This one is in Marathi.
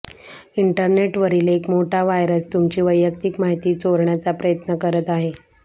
इंटरनेटवरील एक मोठा व्हायरस तुमची वैयक्तिक माहिती चोरण्याचा प्रयत्न करत आहे